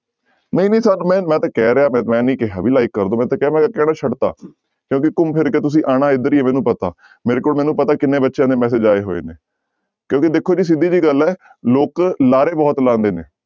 ਨਹੀਂ ਨਹੀਂ ਮੈਂ ਮੈਂ ਤਾਂ ਕਹਿ ਰਿਹਾਂ ਮੈਂ ਨੀ ਕਿਹਾ ਵੀ like ਕਰ ਦਓ, ਮੈਂ ਤਾਂ ਕਿਹਾ ਮੈਂ ਕਹਿਣਾ ਛੱਡ ਦਿੱਤਾ ਕਿਉਂਕਿ ਘੁੰਮ ਫਿਰ ਕੇ ਤੁਸੀਂ ਆਉਣਾ ਇੱਧਰ ਹੀ ਹੈ ਮੈਨੂੰ ਪਤਾ ਮੇਰੇ ਕੋਲ ਮੈਨੂੰ ਪਤਾ ਕਿੰਨੇ ਬੱਚਿਆਂ ਦੇ message ਆਏ ਹੋਏ ਨੇ ਕਿਉਂਕਿ ਦੇਖੋ ਜੀ ਸਿੱਧੀ ਜਿਹੀ ਗੱਲ ਹੈ ਲੋਕ ਲਾਰੇ ਬਹੁਤ ਲਾਉਂਦੇੇ ਨੇ।